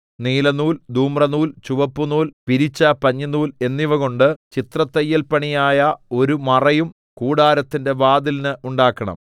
നീലനൂൽ ധൂമ്രനൂൽ ചുവപ്പുനൂൽ പിരിച്ച പഞ്ഞിനൂൽ എന്നിവകൊണ്ട് ചിത്രത്തയ്യൽപണിയായ ഒരു മറയും കൂടാരത്തിന്റെ വാതിലിന് ഉണ്ടാക്കണം